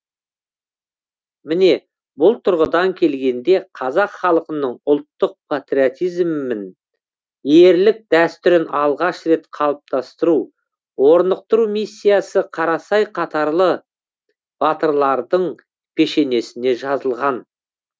міне бұл тұрғыдан келгенде қазақ халқының ұлттық патриотизмін ерлік дәстүрін алғаш рет қалыптастыру орнықтыру миссиясы қарасай қатарлы батырлардың пешенесіне жазылған